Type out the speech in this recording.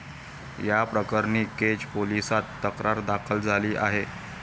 याप्रकरणी केज पोलिसात तक्रार दाखल झाली आहे.